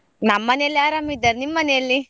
ನಮ್ ಮನೆಯಲ್ಲಿ ಆರಾಮ್ ಇದ್ದಾರೆ ನಿಮ್ ಮನೆಯಲ್ಲಿ?